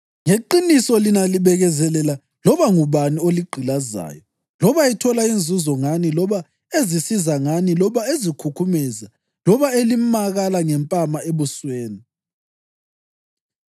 Ngeqiniso, lina libekezelela loba ngubani oligqilazayo loba ethola inzuzo ngani loba ezisiza ngani loba ezikhukhumeza loba elimakala ngempama ebusweni.